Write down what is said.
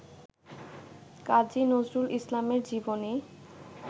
কাজী নজরুল ইসলামের জীবনী